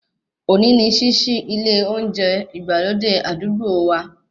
Òní ni ṣíṣí ilé olóúnjẹ ìgbàlódé àdúgbò wa